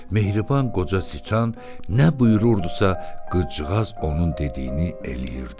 Mehriban qoca çıçan nə buyururdusa, qızcığaz onun dediyini eləyirdi.